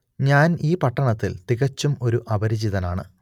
ഞാൻ ഈ പട്ടണത്തിൽ തികച്ചും ഒരു അപരിചിതനാണ്